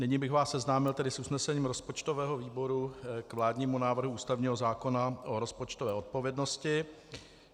Nyní bych vás seznámil tedy s usnesením rozpočtového výboru k vládnímu návrhu ústavního zákona o rozpočtové odpovědnosti.